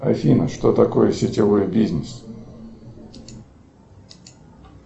афина что такое сетевой бизнес